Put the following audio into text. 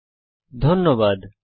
এতে অংশগ্রহনের জন্য ধন্যবাদ